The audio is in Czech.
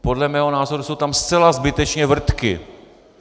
Podle mého názoru jsou tam zcela zbytečně vrtky.